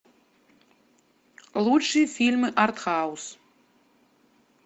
лучшие фильмы арт хаус